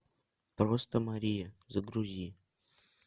просто мария загрузи